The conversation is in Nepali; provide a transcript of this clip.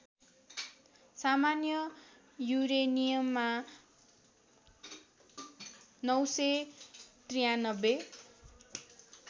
सामान्य युरेनियममा ९९३